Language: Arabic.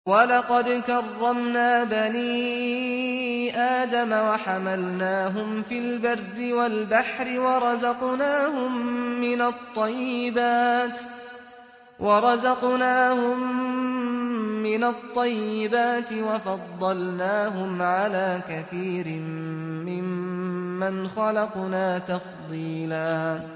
۞ وَلَقَدْ كَرَّمْنَا بَنِي آدَمَ وَحَمَلْنَاهُمْ فِي الْبَرِّ وَالْبَحْرِ وَرَزَقْنَاهُم مِّنَ الطَّيِّبَاتِ وَفَضَّلْنَاهُمْ عَلَىٰ كَثِيرٍ مِّمَّنْ خَلَقْنَا تَفْضِيلًا